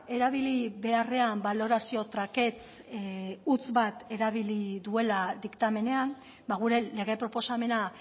erabili beharrean balorazio trakets huts bat erabili duela diktamenean gure lege proposamena